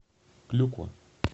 клюква